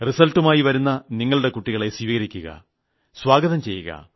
റിസൾട്ടുമായി വരുന്ന നിങ്ങളുടെ കുട്ടികളെ സ്വീകരിക്കുക സ്വാഗതം ചെയ്യുക